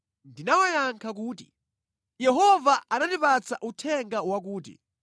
Ndinawayankha kuti, “Yehova anandipatsa uthenga wakuti,